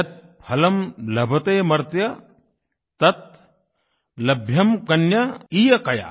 यत् फलं लभतेमर्त्य तत् लभ्यं कन्यकैकया